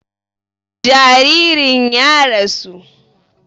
Jaririn ya rasu